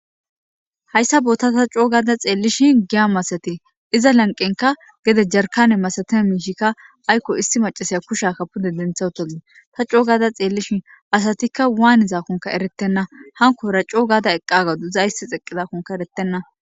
hayssa boota ta coo gaada xeellishin giya masate iza lanqenka gede jarkane masatee miishikka aykko isti macasaya kushakka pude dentha otoe ta coo gaada xeellishin asatikka waanizakkonka eretenna hankora coo gaada eqqagaduiza issi xeqqizakonka eretenna